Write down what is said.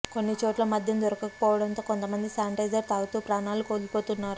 కొన్ని చోట్ల మద్యం దొరకకపోవడంతో కొంత మంది శానిటైజర్ తాగుతూ ప్రాణాలు కోల్పోతున్నారు